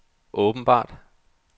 åbenbart